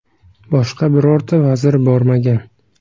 Boshqa birorta vazir bormagan.